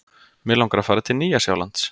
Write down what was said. Mig langar að fara til Nýja-Sjálands.